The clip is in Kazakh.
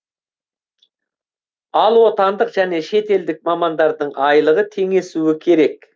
ал отандық және шетелдік мамандардың айлығы теңесуі керек